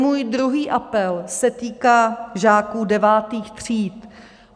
Můj druhý apel se týká žáků devátých tříd.